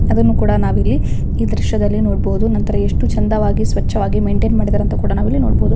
ಅದನ್ನು ಕೂಡ ನಾವ್ ಇಲ್ಲಿ ಈ ದೃಶ್ಯದಲ್ಲಿ ನೋಡ್ಬೋದು. ನಂತರ ಎಷ್ಟು ಚಂದವಾಗಿ ಸ್ವಚವಾಗಿ ಮೇಂಟೈನ್ ಮಾಡಿದ್ದಾರೆ ಅಂತ ಕೂಡ ನಾವ್ ಇಲ್ಲಿ ನೋಡ್ಬೋದು.